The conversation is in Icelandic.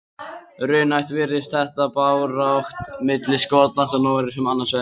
Raunhæft virðist þetta barátta milli Skotlands og Noregs um annað sætið.